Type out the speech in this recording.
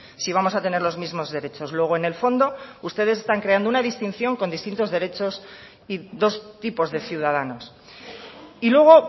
si vamos a tener los mismos derechos luego en el fondo ustedes están creando una distinción con distintos derechos y dos tipos de ciudadanos y luego